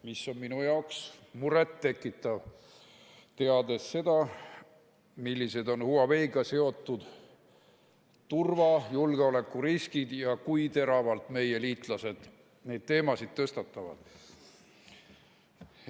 See on minu meelest lausa muret tekitav, teades seda, millised on Huaweiga seotud turva- ja julgeolekuriskid ning kui teravalt meie liitlased neid teemasid tõstatavad.